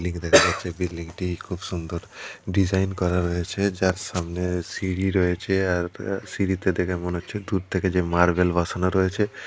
Building দেখাচ্ছে বিল্ডিং -টি খুব সুন্দর ডিজাইন করা রয়েছে যার সামনে সিঁড়ি রয়েছে আর সিঁড়িতে দেখে মনে হচ্ছে দূর থেকে যে মার্বেল বসানো রয়েছে ।